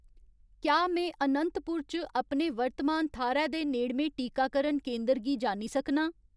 क्या में अनंतपुर च अपने वर्तमान थाह्‌रै दे नेड़में टीकाकरण केंदर गी जानी सकनां